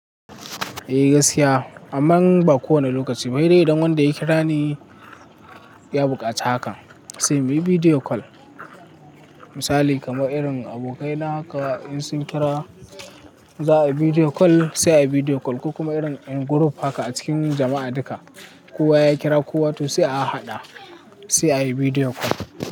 Eh gaskiya, amman ba kowane lokaci ba sai dai idan wanda ya kira ne ya buƙaci haka, sai muyi video call. Misali kamar irin abokaina haka in sun kira za a yi video call sai a yi video call. Ko kuma irin in group haka a cikin jama'a duka. Kowa ya kira kowa to sai a haɗa sai a yi video call.